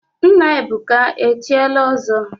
Nna Ebuka echiela ọzọ?